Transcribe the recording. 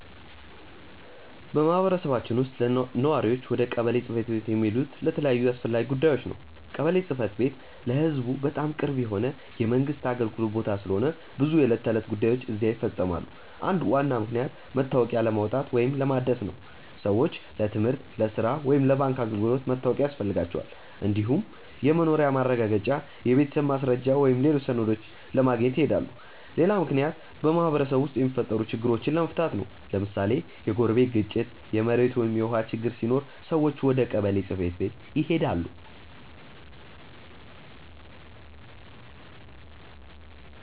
በማህበረሰባችን ውስጥ ነዋሪዎች ወደ ቀበሌ ጽ/ቤት የሚሄዱት ለተለያዩ አስፈላጊ ጉዳዮች ነው። ቀበሌ ጽ/ቤት ለህዝቡ በጣም ቅርብ የሆነ የመንግስት አገልግሎት ቦታ ስለሆነ ብዙ የዕለት ተዕለት ጉዳዮች እዚያ ይፈፀማሉ። አንዱ ዋና ምክንያት መታወቂያ ለማውጣት ወይም ለማደስ ነው። ሰዎች ለትምህርት፣ ለሥራ ወይም ለባንክ አገልግሎት መታወቂያ ያስፈልጋቸዋል። እንዲሁም የመኖሪያ ማረጋገጫ፣ የቤተሰብ ማስረጃ ወይም ሌሎች ሰነዶችን ለማግኘት ይሄዳሉ። ሌላ ምክንያት በማህበረሰቡ ውስጥ የሚፈጠሩ ችግሮችን ለመፍታት ነው። ለምሳሌ የጎረቤት ግጭት፣ የመሬት ወይም የውሃ ችግር ሲኖር ሰዎች ወደ ቀበሌ ጽ/ቤት ይሄዳሉ።